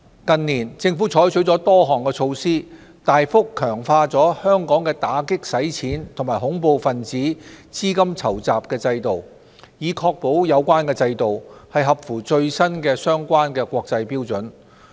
近年，政府採取了多項措施，大幅強化了香港的打擊洗錢及恐怖分子資金籌集制度，以確保有關制度合乎最新的相關國際標準。